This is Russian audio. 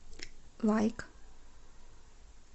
лайк